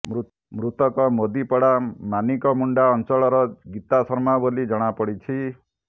ମୃତକ ମୋଦିପଡା ମାନିକମୁଣ୍ତା ଅଂଚଳର ଗିତା ଶର୍ମା ବୋଲି ଜଣାପଡିଛି